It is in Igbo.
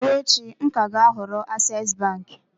Ma ruo echi, m ka ga-ahọrọ access bank.